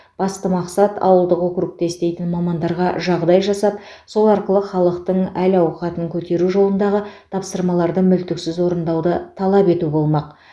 басты мақсат ауылдық округте істейтін мамандарға жағдай жасап сол арқылы халықтың әл ауқатын көтеру жолындағы тапсырмаларды мүлтіксіз орындауды талап ету болмақ